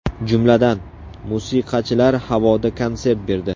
Jumladan, musiqachilar havoda konsert berdi.